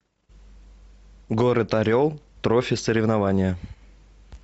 город орел трофи соревнования